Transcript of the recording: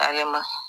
Alɛ ma